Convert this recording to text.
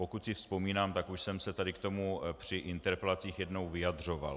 Pokud si vzpomínám, tak už jsem se tady k tomu při interpelacích jednou vyjadřoval.